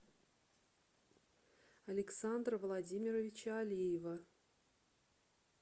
александра владимировича алиева